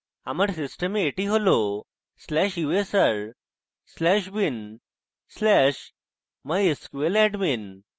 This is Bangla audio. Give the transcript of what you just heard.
আমার system এটি হল/usr/bin/mysqladmin